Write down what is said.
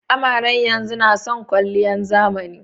Amaren yanzun nason kwaliyan zamani.